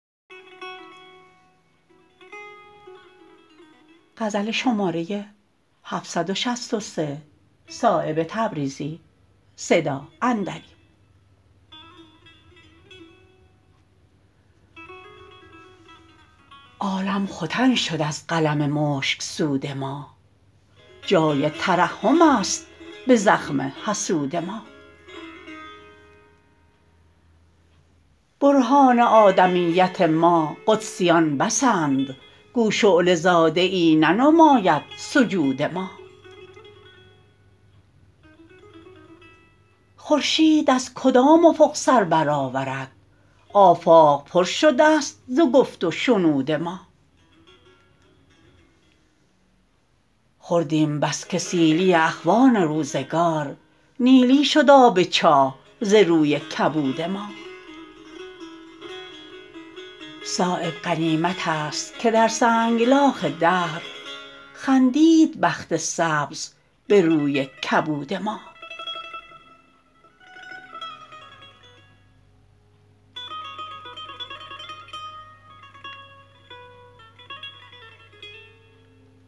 عالم ختن شد از قلم مشکسود ما جای ترحم است به زخم حسود ما برهان آدمیت ما قدسیان بسند گو شعله زاده ای ننماید سجود ما خورشید از کدام افق سربرآورد آفاق پر شده است ز گفت و شنود ما خوردیم بس که سیلی اخوان روزگار نیلی شد آب چاه ز روی کبود ما صایب غنیمت است که در سنگلاخ دهر خندید بخت سبز به روی کبود ما